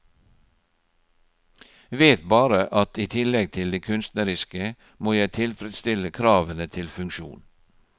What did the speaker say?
Vet bare at i tillegg til de kunstneriske, må jeg tilfredsstille kravene til funksjon.